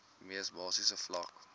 mees basiese vlak